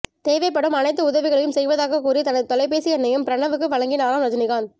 தேவைப்படும் அனைத்து உதவிகளையும் செய்வதாக கூறி தனது தொலைபேசி எண்ணையும் பிரணவுக்கு வழங்கினாராம் ரஜினிகாந்த்